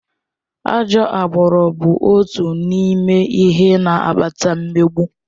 Ajọ agbụrụ bụ otu n'ime ihe na-akpata mmegbu.